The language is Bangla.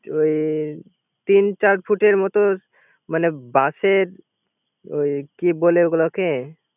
ওই তিন চার ফুটের মত বাশের ওঈ কি বলে ওই গুলোকে